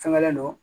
Fɛngɛlen don